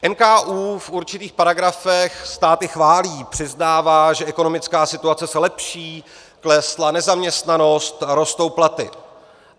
NKÚ v určitých paragrafech stát chválí, přiznává, že ekonomická situace se lepší, klesla nezaměstnanost, rostou platy.